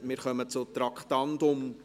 Wir kommen zum Traktandum 8.